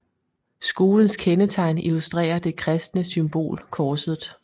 Skolens kendetegn illustrerer det kristne symbol korset